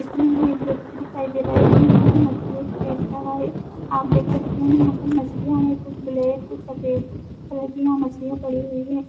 इसमें हमें एक व्यक्ति दिखाई दे रा है जो यहाँ पे मछलियों क बेच रहा है। आप देख सकते हैं याँ पर मछलियाँ हैं कुछ ब्लेक कुछ सफ़ेद कलर की यहाँ मछलियाँ पड़ी हुई हैं।